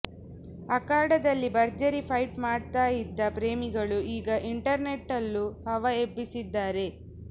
ಅಖಾಡದಲ್ಲಿ ಭರ್ಜರಿ ಫೈಟ್ ಮಾಡ್ತಾ ಇದ್ದ ಪ್ರೇಮಿಗಳು ಈಗ ಇಂಟರ್ನೆಟ್ನಲ್ಲೂ ಹವಾ ಎಬ್ಬಿಸಿದ್ದಾರೆ